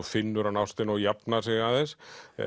finnur hann ástina og jafnar sig aðeins